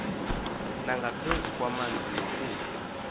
nangaphezu kwamanzi nokutya